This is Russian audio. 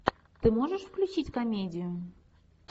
ты можешь включить комедию